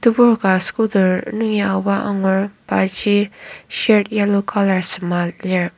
tebur ka scooter nungi aoba angur paji shirt yellow colour sema lir.